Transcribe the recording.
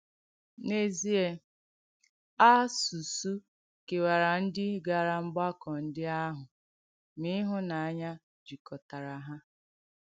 N’èzìè, àsùsù kèwàrà ndí gara mgbàkọ̀ ndí àhụ̄, mà ìhùnànyà jìkọ̀tàrà ha.